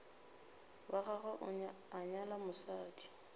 wa gagwe a nyala mosadi